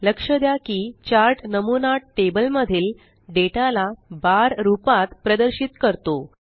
लक्ष द्या की चार्ट नमूना टेबल मधील डेटा ला बार रूपात प्रदर्शित करतो